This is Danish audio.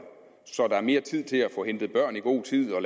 så der er mere tid til at få hentet børn i god tid og